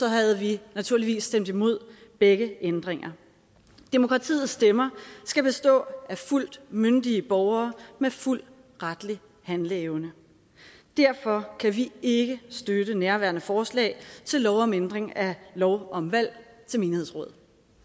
havde vi naturligvis stemt imod begge ændringer demokratiets stemmer skal bestå af fuldt myndige borgere med fuld retlig handleevne derfor kan vi ikke støtte nærværende forslag til lov om ændring af lov om valg til menighedsråd